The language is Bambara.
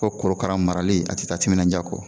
Ko korokara marali a ti taa timinanja kɔ